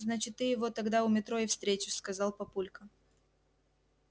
значит ты его тогда у метро и встретишь сказал папулька